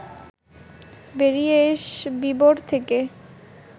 বেরিয়ে এস বিবর থেকে